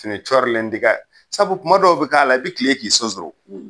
Fini cɔrilen ti kɛ, sabu kuma dɔw bi k'a la i bi kilen k'i sonsoro.